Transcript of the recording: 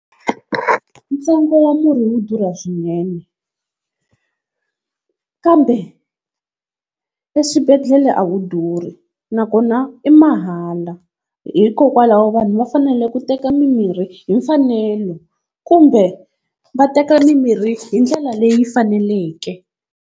Ntsengo wa murhi wu durha swinene, kambe eswibedhlele a wu durhi nakona i mahala. Hikokwalaho vanhu va fanele ku teka mimirhi hi mfanelo kumbe va teka mimirhi hi ndlela leyi faneleke.